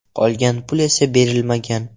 Qolgan pul esa berilmagan.